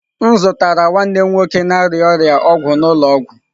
M zụtara nwanne m nwoke na-arịa ọrịa ọgwụ n'ụlọ ọgwụ.